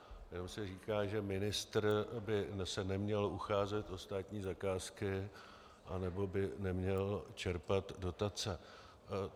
Jenom se říká, že ministr by se neměl ucházet o státní zakázky nebo by neměl čerpat dotace.